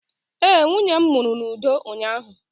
ee, nwunye m mụrụ n'udo ụnyahụ